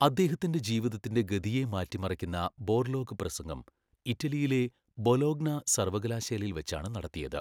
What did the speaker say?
അദ്ദേഹത്തിന്റെ ജീവിതത്തിന്റെ ഗതിയെ മാറ്റിമറിക്കുന്ന ബോർലോഗ് പ്രസംഗം ഇറ്റലിയിലെ ബൊലോഗ്ന സർവകലാശാലയിൽ വച്ചാണ് നടത്തിയത്.